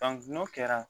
n'o kɛra